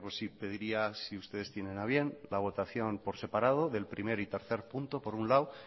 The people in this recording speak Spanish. pediría si ustedes tienen a bien la votación por separado de los puntos uno y tres por un lado